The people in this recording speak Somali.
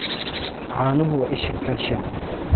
Caanuhu waa isha calcium.